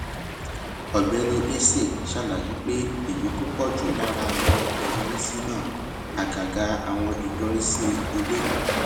ògbéni eze ṣàlàyé pé èyí tó pọ jù lára àwọn ìyọrísí náà àgàgà àwọn ìyọrísí ilé